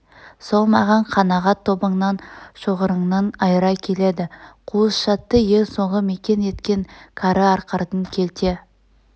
сол маған қанағат тобыңнан шоғырыңнан айыра келеді қуыс шатты ең соңғы мекен еткен кәрі арқардың келте